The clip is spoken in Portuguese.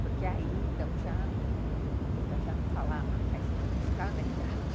Porque aí, então, já... Meu pai já não falava, mas ainda não está na idade.